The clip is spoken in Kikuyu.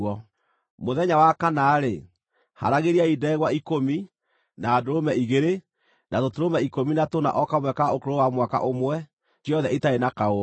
“ ‘Mũthenya wa kana-rĩ, haaragĩriai ndegwa ikũmi, na ndũrũme igĩrĩ, na tũtũrũme ikũmi na tũna o kamwe ka ũkũrũ wa mwaka ũmwe, ciothe itarĩ na kaũũgũ.